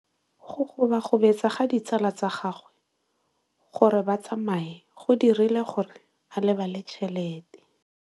Go gobagobetsa ga ditsala tsa gagwe, gore ba tsamaye go dirile gore a lebale tšhelete.